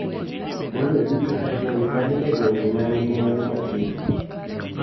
Maloyo duto e gwenge ma ni e gwenge ma nigi mwandu matindo.